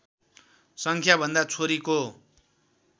सङ्ख्याभन्दा छोरीको